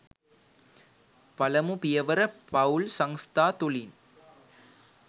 පළමු පියවර පවුල් සංස්ථා තුළින්